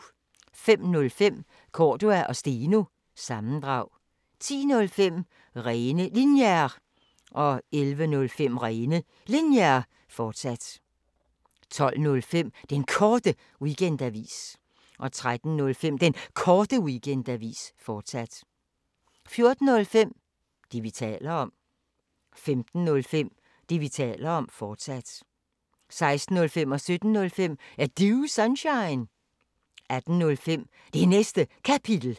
05:05: Cordua & Steno – sammendrag 10:05: Rene Linjer 11:05: Rene Linjer, fortsat 12:05: Den Korte Weekendavis 13:05: Den Korte Weekendavis, fortsat 14:05: Det, vi taler om 15:05: Det, vi taler om, fortsat 16:05: Er Du Sunshine? 17:05: Er Du Sunshine? 18:05: Det Næste Kapitel